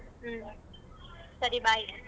ಹ್ಮ್ ಸರಿ bye.